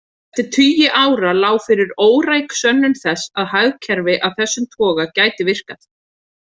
Eftir tugi ára lá fyrir óræk sönnun þess að hagkerfi af þessum toga gæti virkað.